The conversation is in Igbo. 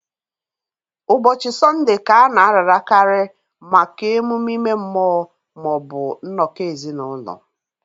Ụbọchị Sọnde Ka a na-ararakarị maka emume ime mmụọ ma ọ bụ nnọkọ ezinụlọ